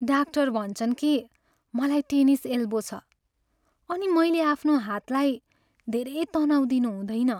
Doctor भन्छन् कि मलाई टेनिस एल्बो छ अनि मैले आफ्नो हातलाई धेरै तनाव दिनु हुँदैन।